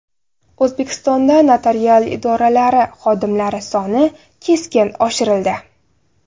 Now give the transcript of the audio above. O‘zbekistonda notarial idoralari xodimlari soni keskin oshirildi.